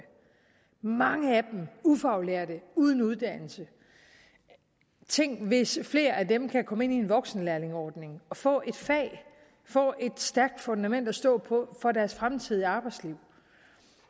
mange er ufaglærte uden uddannelse tænk hvis flere af dem kan komme ind i en voksenlærlingeordning og få et fag få et stærkt fundament at stå på for deres fremtidige arbejdsliv